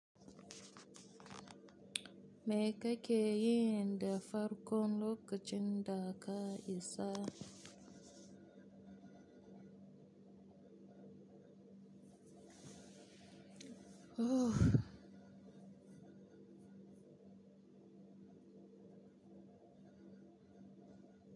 Me kakeyi inda farkon lokacin da ka isa?